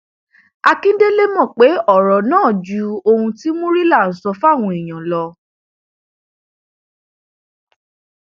akíndélé mọ pé ọrọ náà ju ohun tí murila ń sọ fáwọn èèyàn lọ